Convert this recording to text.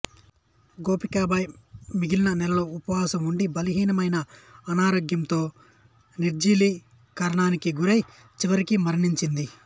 గోపికబాయి మిగిలిన నెలలో ఉపవాసం ఉండి బలహీనమై అనారోగ్యంతో నిర్జలీకరణానికి గురై చివరికి మరణించింది